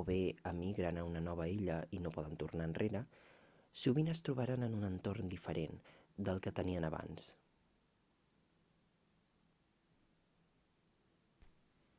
o bé emigren a una nova illa i no poden tornar enrere sovint es trobaran en un entorn diferent del que tenien abans